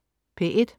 P1: